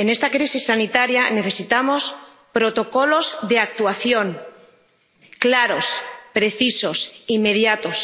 En esta crisis sanitaria, necesitamos protocolos de actuación claros, precisos, inmediatos